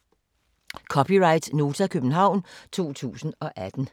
(c) Nota, København 2018